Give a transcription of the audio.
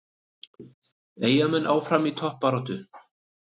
Eyjamenn áfram í toppbaráttu